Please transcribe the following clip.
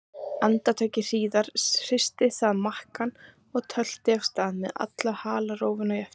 Andartaki síðar hristi það makkann og tölti af stað með alla halarófuna í eftirdragi.